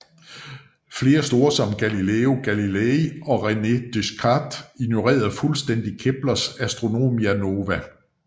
Flere store som Galileo Galilei og René Descartes ignorerede fuldstændigt Keplers Astronomia nova